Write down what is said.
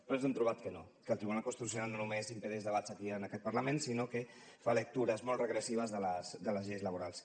però ens hem trobat que no que el tribunal constitucional no només impedeix debats aquí en aquest parlament sinó que fa lectures molt regressives de les lleis laborals